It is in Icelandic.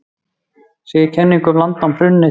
Segir kenningum um landnám hrundið